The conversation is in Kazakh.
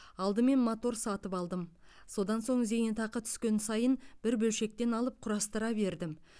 алдымен мотор сатып алдым содан соң зейнетақы түскен сайын бір бөлшектен алып құрастыра бердім